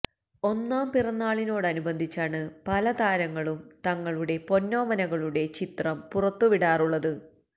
ഒന്നാം പിറന്നാളിനോടനുബന്ധിച്ചാണ് പല താരങ്ങളും തങ്ങളുടെ പൊന്നോമനകളുടെ ചിത്രം പുറത്തുവിടാറുള്ളത്